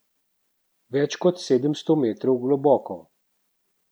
Več kot sedemdeset metrov globoko.